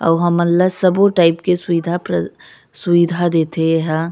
अउ हमन ल सब टाइप के सुविधा प्रदा सुविधा देथे एहा--